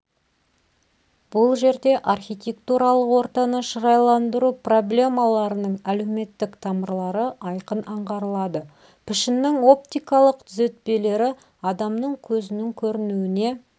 бұл жерде архитектуралық ортаны шырайландыру проблемаларының әлеуметтік тамырлары айқын аңғарылады пішіннің оптикалық түзетпелері адамның көзінің көруіне